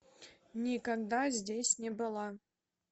никогда здесь не была